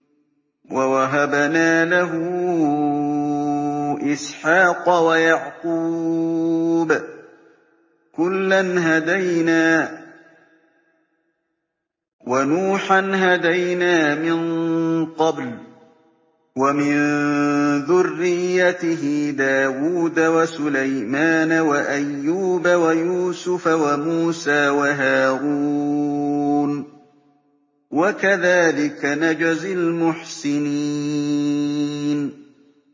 وَوَهَبْنَا لَهُ إِسْحَاقَ وَيَعْقُوبَ ۚ كُلًّا هَدَيْنَا ۚ وَنُوحًا هَدَيْنَا مِن قَبْلُ ۖ وَمِن ذُرِّيَّتِهِ دَاوُودَ وَسُلَيْمَانَ وَأَيُّوبَ وَيُوسُفَ وَمُوسَىٰ وَهَارُونَ ۚ وَكَذَٰلِكَ نَجْزِي الْمُحْسِنِينَ